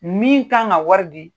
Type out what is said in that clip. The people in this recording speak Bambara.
Min kan ka wari di